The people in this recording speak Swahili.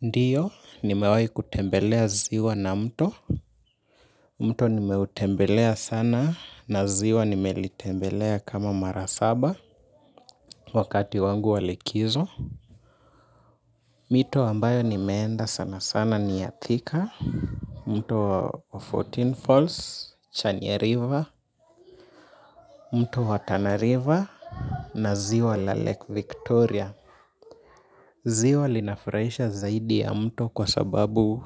Ndiyo, nimewai kutembelea ziwa na mto. Mto nimeutembelea sana na ziwa nimelitembelea kama mara saba wakati wangu wa likizo. Mito ambayo nimeenda sana sana ni ya Thika. Mto wa fourteen Falls, Chania River, mto wa Tana River na ziwa la Lake Victoria. Ziwa linafurahisha zaidi ya mto kwa sababu